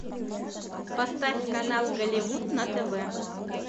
поставь канал голливуд на тв